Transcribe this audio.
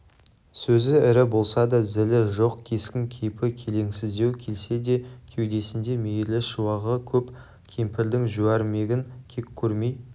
сөзі ірі болса да зілі жоқ кескін-кейпі келеңсіздеу келсе де кеудесінде мейірлі шуағы көп кемпірдің жуәрмегін кек көрмей